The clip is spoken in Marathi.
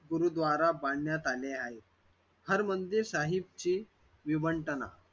गुरुद्वारा मंदिर बांधण्यात आले आहे हरमंदिर साहिबची विवंटना